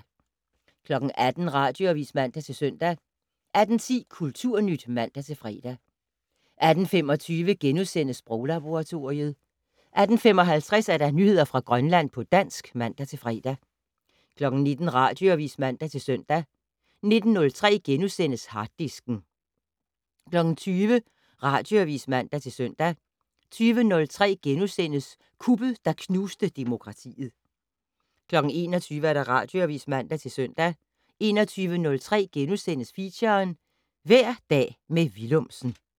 18:00: Radioavis (man-søn) 18:10: Kulturnyt (man-fre) 18:25: Sproglaboratoriet * 18:55: Nyheder fra Grønland på dansk (man-fre) 19:00: Radioavis (man-søn) 19:03: Harddisken * 20:00: Radioavis (man-søn) 20:03: Kuppet, der knuste demokratiet * 21:00: Radioavis (man-søn) 21:03: Feature: Hver dag med Willumsen *